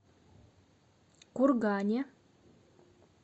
кургане